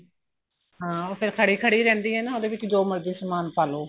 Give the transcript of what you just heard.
ਹਾਂ ਉਹ ਫੇਰ ਖੜੀ ਖੜੀ ਹੀ ਰਹਿੰਦੇ ਏ ਨਾ ਉਹਦੇ ਵਿੱਚ ਜੋ ਮਰਜੀ ਸਮਾਨ ਪਾਲੋ